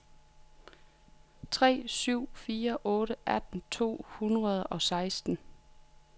tre syv fire otte atten to hundrede og seksten